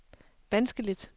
vanskeligt